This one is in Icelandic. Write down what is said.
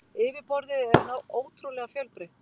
Yfirborðið er ótrúlega fjölbreytt.